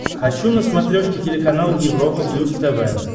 хочу на смотрешке телеканал европа плюс тв